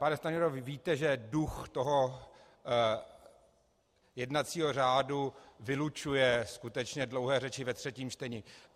Pane Stanjuro, vy víte, že duch toho jednacího řádu vylučuje skutečně dlouhé řeči ve třetím čtení.